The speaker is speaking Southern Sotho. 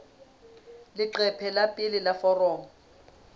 leqephe la pele la foromo